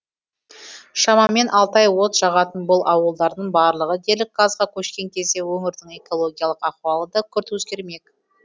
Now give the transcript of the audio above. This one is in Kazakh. шамамен алты ай от жағатын бұл ауылдардың барлығы дерлік газға көшкен кезде өңірдің экологиялық ахуалы да күрт өзгермек